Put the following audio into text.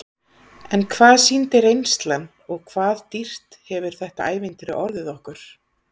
En hvað sýndi reynslan og hvað dýrt hefur þetta ævintýri orðið okkur?